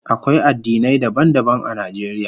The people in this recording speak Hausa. Akwai addinai daban-daban a Najeriya.